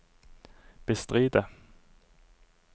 bestride